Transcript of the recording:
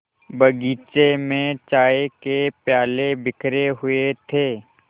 बगीचे में चाय के प्याले बिखरे हुए थे